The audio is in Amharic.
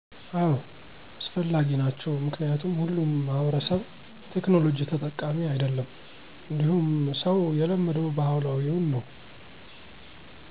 አዎ አስፈላጊ ናቸው ምክንያቱም ሁሉም ማህበረሰብ የቴክናሎጂ ተጠቃሚ አይደለም እንዲሁም ሰው የለመደው ባህላዊውን ነው።